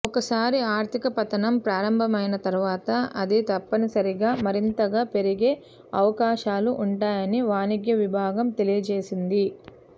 ఒకసారి ఆర్థిక పతనం ప్రారంభమైన తర్వాత అది తప్పనిసరిగా మరింతగా పెరిగే అవకాశాలు ఉంటాయని వాణిజ్య విభాగం తెలియజేసింది